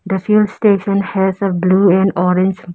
The fuel station has a blue and orange --